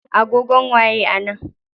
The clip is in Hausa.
Agogon waye a nan?